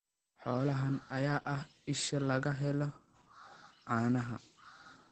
Xoolahan ayaa ah isha laga helo caanaha.